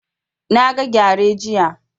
Na ga gyare jiya